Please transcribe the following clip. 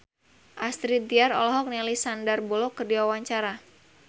Astrid Tiar olohok ningali Sandar Bullock keur diwawancara